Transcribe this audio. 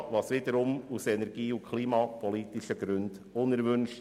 Dies wäre wiederum aus energie- und klimapolitischen Gründen unerwünscht.